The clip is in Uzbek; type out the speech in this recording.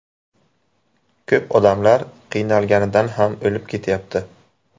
Ko‘p odamlar qiynalganidan ham o‘lib ketyapti.